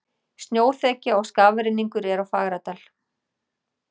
Snjóþekja og skafrenningur er á Fagradal